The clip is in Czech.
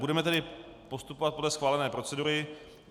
Budeme tedy postupovat podle schválené procedury.